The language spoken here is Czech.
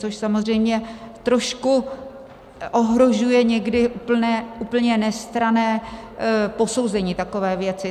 Což samozřejmě trošku ohrožuje někdy úplně nestranné posouzení takové věci.